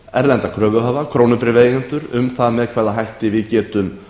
erlenda kröfuhafa krónubréfaeigendur um það með hvaða hætti við getum